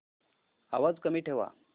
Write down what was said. आवाज कमी ठेवा